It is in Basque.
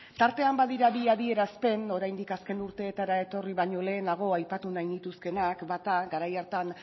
tartean badira bi adierazpen oraindik azken urteetara etorri baino lehenago aipatu nahi nituzkeenak bata garai hartan